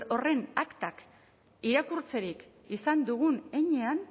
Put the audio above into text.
horren aktak irakurtzerik izan dugun heinean